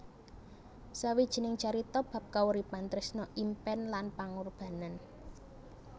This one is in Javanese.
Sawijining carita bab kauripan tresna impèn lan pangurbanan